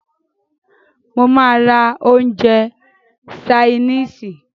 Mó máà rá oúnjẹ ṣainisi.